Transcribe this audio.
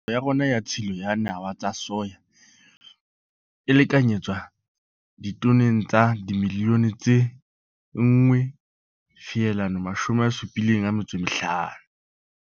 Ya rona ya tshilo ya nawa tsa soya e lekanyetswa ditoneng tsa dimilione tse 1,75.